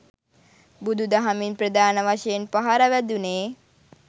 බුදු දහමින් ප්‍රධාන වශයෙන් පහර වැදුණේ